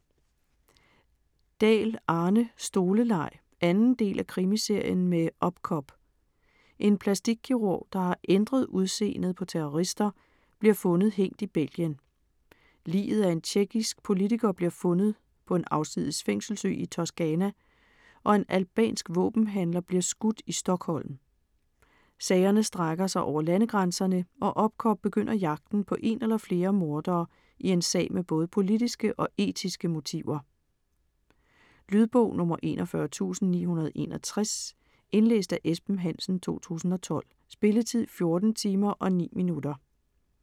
Dahl, Arne: Stoleleg 2. del af Krimiserien med Opcop. En plastikkirurg, der har ændret udseendet på terrorister, bliver fundet hængt i Belgien. Liget af en tjekkisk politiker bliver fundet på en afsides fængselsø i Toscana og en albansk våbenhandler bliver skudt i Stockholm. Sagerne strækker sig over landegrænserne og Opcop begynder jagten på en eller flere mordere i en sag med både politiske og etiske motiver. Lydbog 41961 Indlæst af Esben Hansen, 2012. Spilletid: 14 timer, 9 minutter.